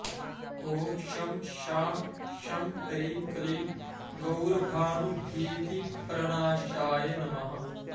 ॐ शं शां षं ह्रीं क्लीं गौरभानुभीतिप्रणाशाय नमः